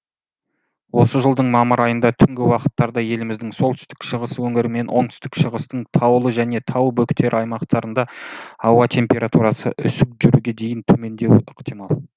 осы жылдың мамыр айында түнгі уақыттарда еліміздің солтүстік шығыс өңірі мен оңтүстік шығыстың таулы және тау бөктері аймақтарында ауа температурасы үсік жүруге дейін төмендеуі ықтимал